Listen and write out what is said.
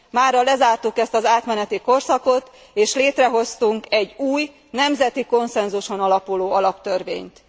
Mára lezártuk ezt az átmeneti korszakot és létrehoztunk egy új, nemzeti konszenzuson alapuló alaptörvényt.